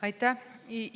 Aitäh!